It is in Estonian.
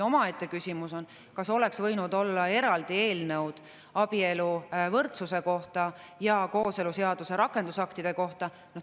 Omaette küsimus on, kas oleks võinud olla eraldi eelnõud abieluvõrdsuse kohta ja kooseluseaduse rakendusaktide kohta.